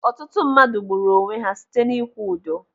Ọtụtụ ndị mmadụ gburu onwe ha site n'ikwu udo.